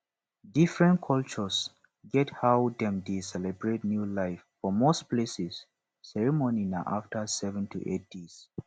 different culture get how dem dey celebrate new life for most places ceremony na after 7 to 8 days